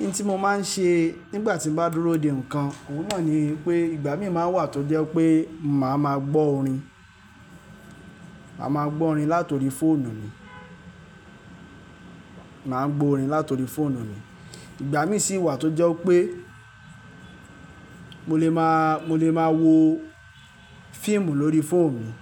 Iye tí mo máa ń ṣe nígbà tí mo bá dúró de nǹkan, òun náà ni pé ìgbà mi máa wà tó jẹ́ pé màá ma gbọ́ orin. Máa ma gbọ́ orin látori fóònù mi. Màá ń gbo orin látori fóònù mi. Ìgbà mí sì wà tó jẹ́ pé mo lè máa, mo lè máa wo fíìmù lórí fóònù mi.